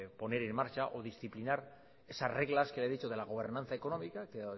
poner en marcha o disciplinar esas reglas que ya he dicho de la gobernanza económica